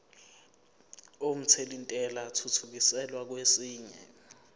omthelintela athuthukiselwa kwesinye